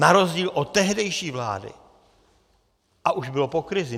Na rozdíl od tehdejší vlády, a už bylo po krizi.